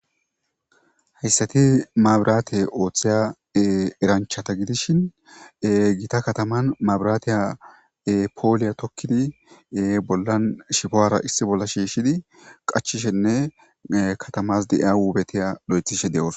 Haysat mabirate othiza eranchata gidishn Gita kataman mabiratiya pola tokid bollan ahubara issi bolla shiishid qachishenne katamas de'iya wubetiya imid de'osona.